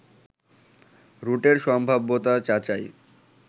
রুটের সম্ভাব্যতা যাচাই